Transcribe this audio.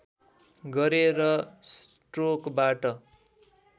गरे र स्ट्रोकबाट